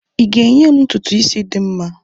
ị ga-enye m ntutu isi dị mma?